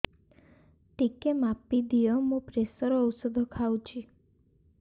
ଟିକେ ମାପିଦିଅ ମୁଁ ପ୍ରେସର ଔଷଧ ଖାଉଚି